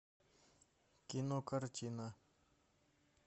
кинокартина